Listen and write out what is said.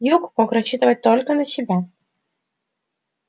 юг мог рассчитывать только на себя